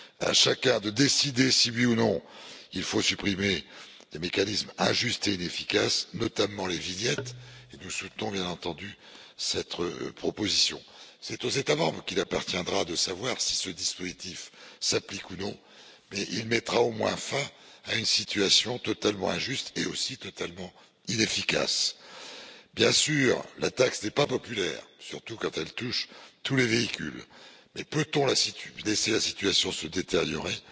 À chacun de décider si, oui ou non, il faut supprimer les mécanismes injustes et inefficaces, notamment les vignettes, et nous soutenons bien entendu cette proposition. C'est aux États membres qu'il appartiendra de savoir si ce dispositif s'applique ou non, mais il mettra au moins fin à une situation totalement injuste et totalement inefficace. Bien sûr, la taxe n'est pas populaire, surtout quand elle touche tous les véhicules. Mais peut on laisser la situation se détériorer,